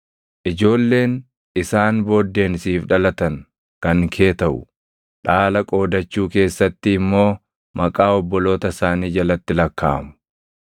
Ijoolleen isaan booddeen siif dhalatan kan kee taʼu. Dhaala qoodachuu keessatti immoo maqaa obboloota isaanii jalatti lakkaaʼamu.